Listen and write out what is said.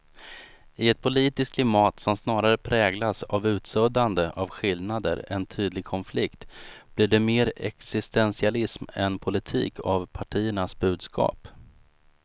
I ett politiskt klimat som snarare präglas av utsuddande av skillnader än tydlig konflikt blir det mer existentialism än politik av partiernas budskap.